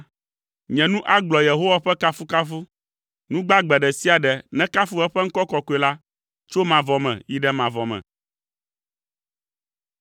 Nye nu agblɔ Yehowa ƒe kafukafu. Nu gbagbe ɖe sia ɖe nekafu eƒe ŋkɔ kɔkɔe la tso mavɔ me yi ɖe mavɔ me.